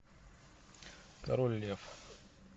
король лев